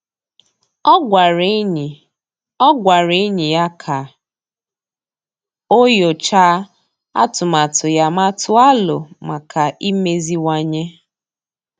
Ọ́ gwàrà ényì Ọ́ gwàrà ényì ya kà o nyòcháá atụmatụ ya ma tụ́ọ́ alo maka imeziwanye.